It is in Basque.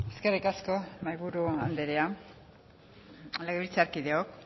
eskerrik asko mahaiburu anderea legebiltzarkideok